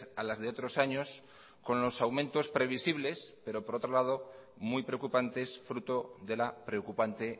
a las de otros años con los aumentos previsibles pero por otro lado muy preocupantes fruto de la preocupante